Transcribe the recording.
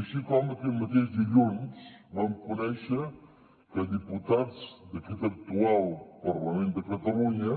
així com aquest mateix dilluns vam conèixer que diputats d’aquest actual parlament de catalunya